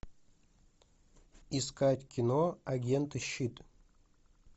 искать кино агенты щит